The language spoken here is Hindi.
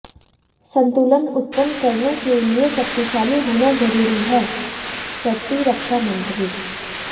संतुलन उत्पन्न करने के लिए शक्तिशाली होना ज़रूरी हैः प्रतिरक्षामंत्री